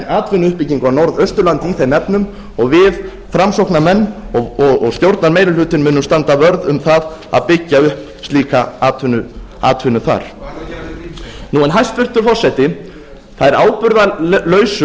atvinnuuppbyggingu á norðausturlandi í þeim efnum og við framsóknarmenn og stjórnarmeirihlutinn munum standa vörð um það að byggja upp slíka atvinnu þar hvað ætlarðu að gera við grímsey hæstvirtur forseti þær ábyrgðarlausu